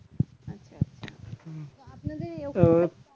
আচ্ছা আচ্ছা তো আপনাদের